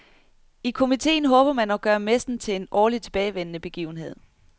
I komiteen håber man at gøre messen til en årligt tilbagevendende begivenhed.